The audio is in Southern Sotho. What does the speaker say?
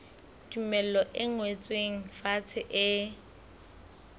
tumello e ngotsweng fatshe e